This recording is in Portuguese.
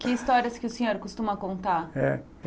Que histórias que o senhor costuma contar? É